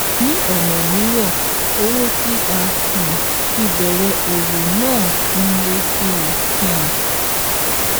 Ní ọ̀nà míràn owó tí a um fi bẹ̀rẹ̀ òwò náà n lé sí um i